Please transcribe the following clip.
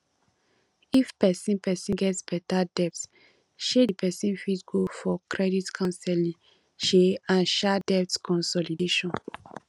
if person person get better debt um di person fit go for credit councelling um and um debt consolidation